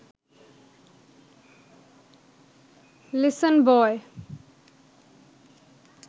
listen বয়